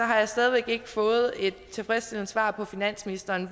har jeg stadig væk ikke fået et tilfredsstillende svar fra finansministeren